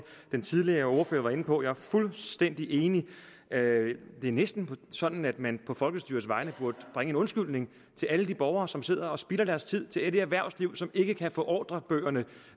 den tidligere ordfører var inde på jeg er fuldstændig enig det er næsten sådan at man på folkestyrets vegne burde bringe en undskyldning til alle de borgere som sidder og spilder deres tid og til det erhvervsliv som ikke kan få ordrerne